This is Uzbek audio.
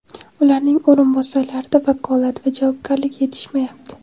ularning o‘rinbosarlarida vakolat va javobgarlik yetishmayapti.